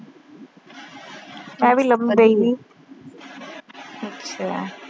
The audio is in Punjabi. ਅੱਛਾ।